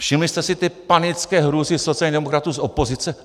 Všimli jste si té panické hrůzy sociálních demokratů z opozice?